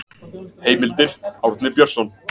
Heimildir Árni Björnsson.